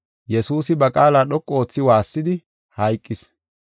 Hessafe guye, Yesuusi waassis; hayqis.